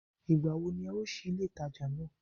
Ìgbà wo ní e ó sí ilé ìtajà náà